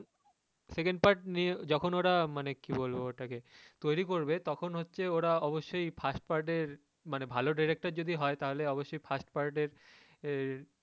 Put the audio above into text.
second part নিয়ে যখন ওরা মানে কী বলবো ওটা কে তৈরি করবে তখন হচ্ছে ওরা অবশ্যই first part এর মানে ভালো derector যদি হয় তাহলে অবশ্যই first part এর আহ